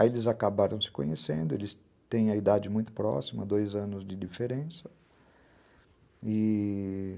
Aí eles acabaram se conhecendo, eles têm a idade muito próxima, dois anos de diferença, e...